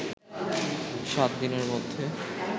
সাত দিনের মধ্যে